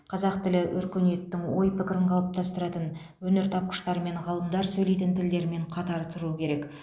қазақ тілі өркениеттің ой пікірін қалыптастыратын өнертапқыштар мен ғалымдар сөйлейтін тілдермен қатар тұруы керек